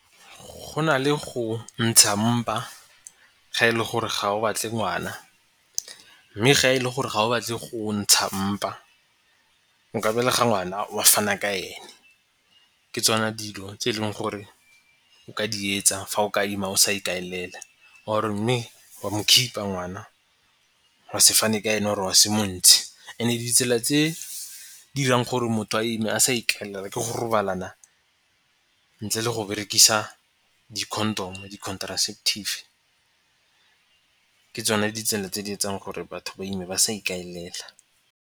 Go na le go ntsha mpa ga e le gore ga o batle ngwana mme ga e le gore ga o batle go ntsha mpa nka belega ngwana wa fana ka ene. Ke tsona dilo tse e leng gore o ka di etsa fa o ka ima o sa ikaelela or-e mme wa mo keep-a ngwana wa se fane ka ena or-e wa se montshe. And-e ditsela tse dirang go re motho a ime a sa ikaela ke go robalana ntle le go berekisa di-condom-o, di-contraceptive. Ke tsone ditsela tse di etseng gore batho ba ime ba sa ikaelela.